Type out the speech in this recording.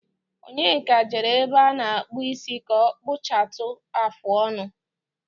Onyeka jere ebe ánà-àkpù isi kà ọ kpụchatụ áfụ ọnụ.